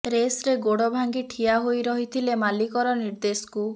ରେସ୍ରେ ଗୋଡ଼ ଭାଙ୍ଗି ଠିଆ ହୋଇ ରହିଥିଲେ ମାଲିକର ନିର୍ଦେଶକୁ